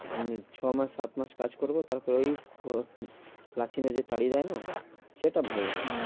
এমনি ছ মাস সাত মাস কাজ করবো তারপর ওই লাঠি মেরে তাড়িয়ে দেয় না সেটা ভালো লাগে না। হ্যাঁ